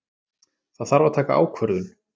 Það þarf að taka ákvörðun.